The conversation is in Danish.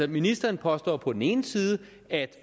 ministeren påstår på den ene side at